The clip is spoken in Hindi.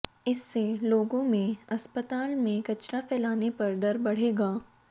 इससे लोगों में अस्पताल में कचरा फैलाने पर डर बढ़ेगा